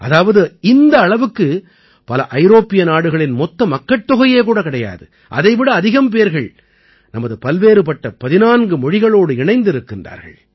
அதாவது இந்த அளவுக்கு பல ஐரோப்பிய நாடுகளின் மொத்த மக்கட்தொகையே கூட கிடையாது அதை விட அதிகம் பேர்கள் நமது பல்வேறுபட்ட 14 மொழிகளோடு இணைந்திருக்கிறார்கள்